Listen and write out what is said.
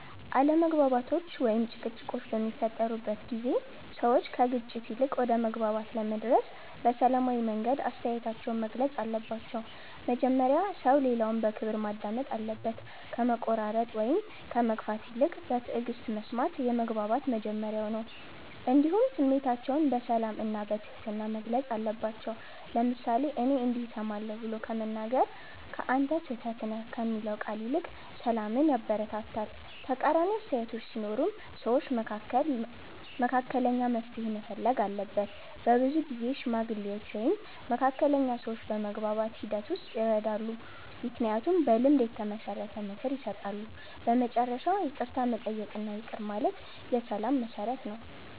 አለመግባባቶች ወይም ጭቅጭቆች በሚፈጠሩበት ጊዜ ሰዎች ከግጭት ይልቅ ወደ መግባባት ለመድረስ በሰላማዊ መንገድ አስተያየታቸውን መግለጽ አለባቸው። መጀመሪያ ሰው ሌላውን በክብር ማዳመጥ አለበት፣ ከመቆራረጥ ወይም ከመግፋት ይልቅ በትዕግስት መስማት የመግባባት መጀመሪያ ነው። እንዲሁም ስሜታቸውን በሰላም እና በትህትና መግለጽ አለባቸው፤ ለምሳሌ “እኔ እንዲህ እሰማለሁ” ብሎ መናገር ከ“አንተ ስህተት ነህ” የሚለው ቃል ይልቅ ሰላምን ያበረታታል። ተቃራኒ አስተያየቶች ሲኖሩም ሰዎች መካከል መካከለኛ መፍትሔ መፈለግ አለበት። በብዙ ጊዜ ሽማግሌዎች ወይም መካከለኛ ሰዎች በመግባባት ሂደት ውስጥ ይረዳሉ፣ ምክንያቱም በልምድ የተመሰረተ ምክር ይሰጣሉ። በመጨረሻ ይቅርታ መጠየቅ እና ይቅር ማለት የሰላም መሠረት ነው።